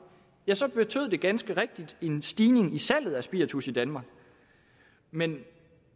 ja så betød det ganske rigtigt en stigning i salget af spiritus i danmark men